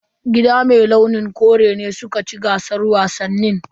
Gida mai launin kore ne suka ci gasar wasannin.